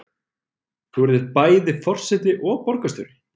Þú yrðir bæði forseti og borgarstjóri?